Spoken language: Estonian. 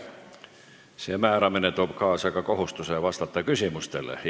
See määramine toob kaasa ka kohustuse vastata küsimustele.